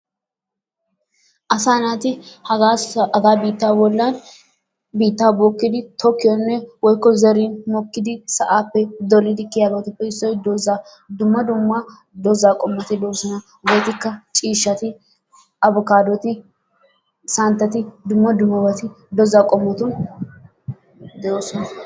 Asaa naati hagaa sa hagaa biitta bollan biittaa bookidi tokkiyonne woykko zari mokkidi sa'aappe kiyiyabatuppe issoy dozzaa. Dumma dumma dozzaa qommoti doosona. Hegetikka ciishshati abikaadoti santatti dumma dummabati dozzaa qommoti de'oosona.